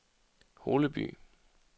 Holeby